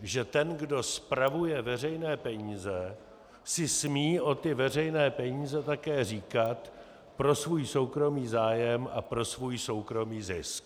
že ten, kdo spravuje veřejné peníze, si smí o ty veřejné peníze také říkat pro svůj soukromý zájem a pro svůj soukromý zisk.